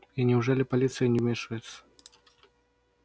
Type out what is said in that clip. и неужели полиция не вмешивается